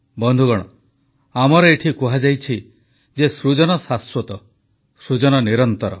ବନ୍ଧୁଗଣ ଆମର ଏଠି କୁହାଯାଇଛି ଯେ ସୃଜନ ଶାଶ୍ୱତ ସୃଜନ ନିରନ୍ତର